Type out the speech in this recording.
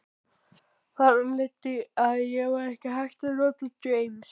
Þar af leiddi að ekki væri hægt að nota James